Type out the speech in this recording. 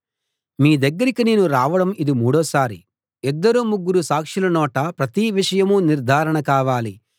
మీ దగ్గరికి నేను రావడం ఇది మూడోసారి ఇద్దరు ముగ్గురు సాక్షుల నోట ప్రతి విషయం నిర్ధారణ కావాలి